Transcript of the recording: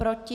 Proti?